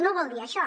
no vol dir això